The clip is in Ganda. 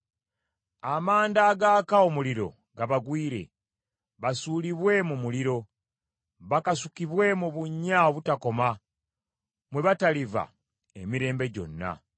Amanda agaaka omuliro gabagwire; basuulibwe mu muliro, bakasukibwe mu bunnya obutakoma mwe bataliva emirembe gyonna.